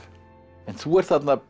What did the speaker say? en þú ert þarna